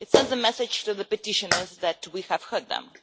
It sends a message to the petitioners that we have heard them.